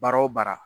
Baara o baara